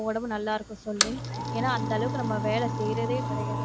உடம்பு நல்லாருக்கும் சொல்லு ஏன்னா, அந்தளவுக்கு நம்ம வேலை செய்றதே கிடையாது.